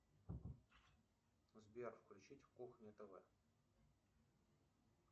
сбер включить кухня тв